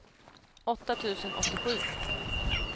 åtta tusen åttiosju